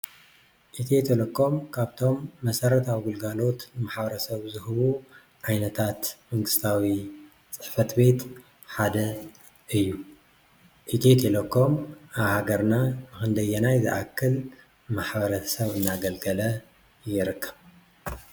ኢትዮ ቴሌኮም ካብቶም መሰረታዊ ግለጋሎት ማሕበረሰብ ዝህቡ ዓይነታት መንግስታዊ ፅሕፍት ቤት ሓደ እዩ፡፡ ኢትዮ ቴሌኮም አብ ሃገርና ኽንደየናይ ዝአክል ማሕበረሰብ እናገልገለ ይርከብ?